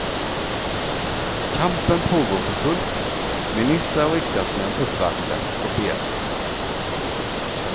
Kampen pågår för fullt, ministrar och riksdagsmän uppvaktas och bearbetas.